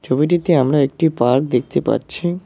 ছবিটিতে আমরা একটি পার্ক দেখতে পাচ্ছি।